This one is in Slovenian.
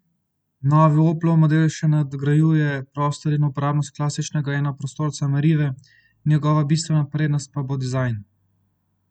Novi Oplov model še nadgrajuje prostor in uporabnost klasičnega enoprostorca merive, njegova bistvena prednost pa bo dizajn.